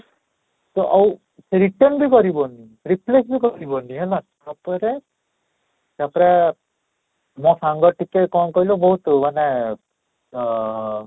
ସେ ଆଉ return ବି କରିବନି replace ବି କରିବନି ହେଲା ସତରେ ତା'ପରେ ଯାହା ସାଙ୍ଗ ଟିକେ କ'ଣ କହିଲୁ ବହୁତ ମାନେ ଅଁ